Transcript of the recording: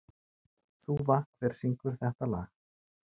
Þúfa, hver syngur þetta lag?